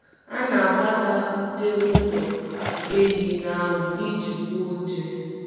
A na m agbasa ute ụlọ ehi n'anwụ iji gbuo nje.